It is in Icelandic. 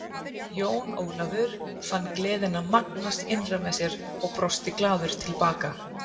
Jón Ólafur fann gleðina magnast innra með sér og brosti glaður til baka.